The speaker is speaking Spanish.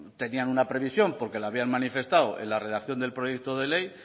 tenían una previsión porque lo habían manifestado en la redacción del proyecto de ley